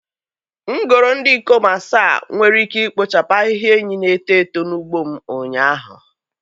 M goro ndị ikom asaa nwere ike ikpochapụ ahịhịa enyí na-eto eto n'ugbo m ụnyaahụ.